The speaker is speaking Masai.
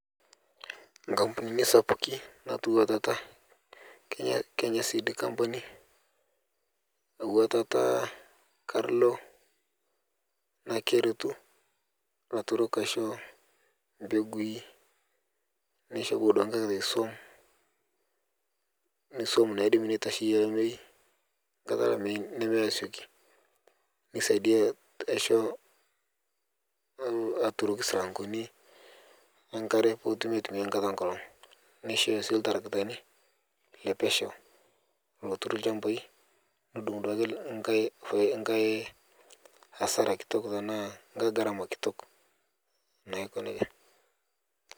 Nkapunini sapuki atua tata Kenya seed company atua tata karlo naa kertu laturok aisho mbegui neisho abaki duake nkae kata suom, suom naidim netasheye lamei nkata lamei nemeyee asioki nesadiaa aisho aturoki silangoni enkare putumi atumia nkata enkolog neishoyo sii ltaragitani lepesheu lotur lshambai nodung duake nkae asara kitok tana nkae ngarama kitok naaiko neja.